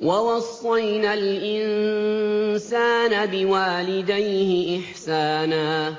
وَوَصَّيْنَا الْإِنسَانَ بِوَالِدَيْهِ إِحْسَانًا ۖ